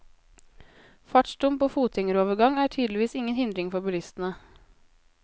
Fartsdump og fotgjengerovergang er tydeligvis ingen hindring for bilistene.